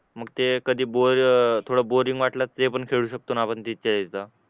थोडं बोरिंग वाटलं ते पण खेळू शकतो ना आपण तिथे एकदा